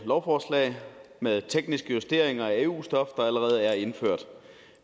lovforslag med tekniske justeringer af eu stof der allerede er indført